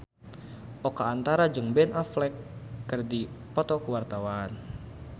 Oka Antara jeung Ben Affleck keur dipoto ku wartawan